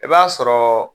I b'a sɔrɔ